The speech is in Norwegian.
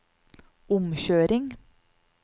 omkjøring